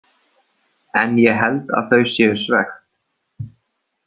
En ég held að þau séu svekkt.